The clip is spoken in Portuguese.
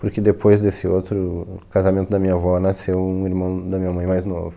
Porque depois desse outro casamento da minha avó, nasceu um irmão da minha mãe mais novo.